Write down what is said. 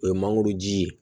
O ye mangoro ji ye